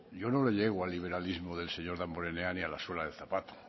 yo no le llego al liberalismo del señor damborenea ni a la suela del zapato